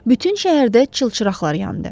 Bütün şəhərdə çılçıraqlar yandı.